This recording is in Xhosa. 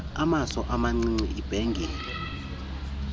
amaso amacici ibhengile